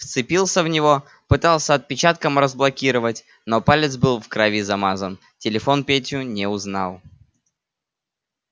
вцепился в него пытался отпечатком разблокировать но палец был в крови замазан телефон петю не узнал